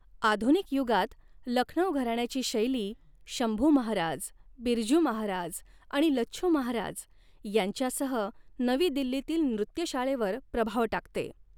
आधुनिक युगात, लखनऊ घराण्याची शैली शंभू महाराज, बिरजू महाराज आणि लच्छू महाराज यांच्यासह नवी दिल्लीतील नृत्यशाळेवर प्रभाव टाकते.